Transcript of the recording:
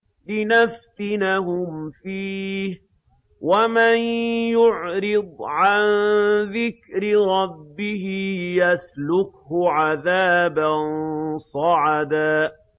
لِّنَفْتِنَهُمْ فِيهِ ۚ وَمَن يُعْرِضْ عَن ذِكْرِ رَبِّهِ يَسْلُكْهُ عَذَابًا صَعَدًا